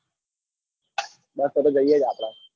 બસ તન જઈએ આપડ.